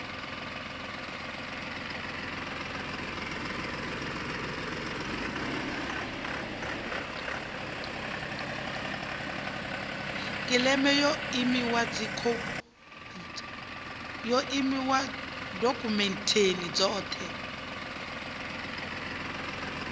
kiḽeima ya emia dokhumenthe dzoṱhe